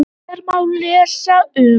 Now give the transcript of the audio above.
Hér má lesa um